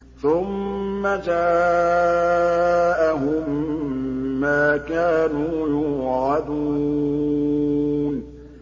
ثُمَّ جَاءَهُم مَّا كَانُوا يُوعَدُونَ